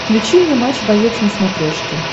включи мне матч боец на смотрешке